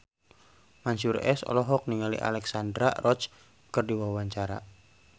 Mansyur S olohok ningali Alexandra Roach keur diwawancara